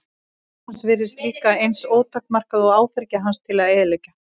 Vald hans virtist líka eins ótakmarkað og áfergja hans til að eyðileggja.